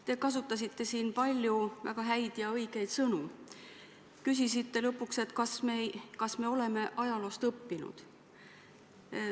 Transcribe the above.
Te kasutasite siin palju väga häid ja õigeid sõnu ning küsisite lõpuks, kas me oleme ajaloost õppinud.